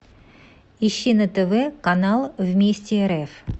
ищи на тв канал вместе рф